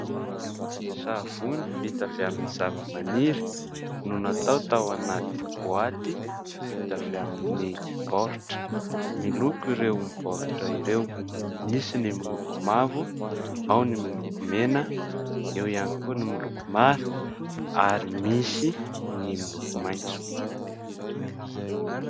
Savony vita avy amin'ny zavamaniry no natao tao anaty boaty vita avy amin'ny baoritra. Miloko ireo baoritra ireo: misy ny miloko mavo, ao ny miloko mena, eo ihany koa ny miloko mara, ary misy ny miloko maitso.